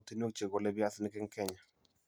Emotinwek che golei piasinik eng' Kenya: